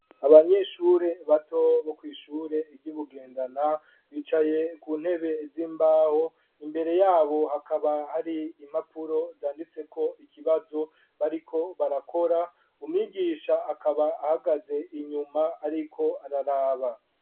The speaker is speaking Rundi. Abanyeshure bato, bo kw'ishure ry' i Bugendana, bicaye ku ntebe z'imbaho, imbere y'abo, hakaba hari impapuro zanditseko ikibazo, bariko barakora; umwigisha, akaba ahagaze inyuma, ariko araraba.